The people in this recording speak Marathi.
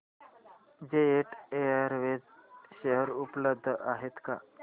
जेट एअरवेज शेअर उपलब्ध आहेत का